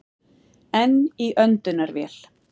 Enn í öndunarvél